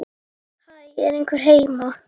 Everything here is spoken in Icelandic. Eitt gyllini á ári.